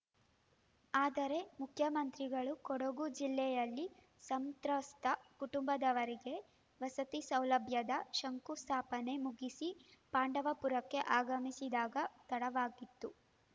ಆದರೆ ಮುಖ್ಯಮಂತ್ರಿಗಳು ಕೊಡಗು ಜಿಲ್ಲೆಯಲ್ಲಿ ಸಂತ್ರಸ್ತ ಕುಟುಂಬದವರಿಗೆ ವಸತಿ ಸೌಲಭ್ಯದ ಶಂಕುಸ್ಥಾಪನೆ ಮುಗಿಸಿ ಪಾಂಡವಪುರಕ್ಕೆ ಆಗಮಿಸಿದಾಗ ತಡವಾಗಿತ್ತು